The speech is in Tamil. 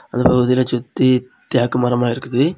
இதில ஒருத்தில சுத்தி தேக்கு மரமா இருக்குது.